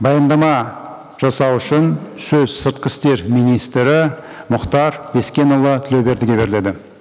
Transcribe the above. баяндама жасау үшін сөз сыртқы істер министрі мұхтар бескенұлы тілеубердіге беріледі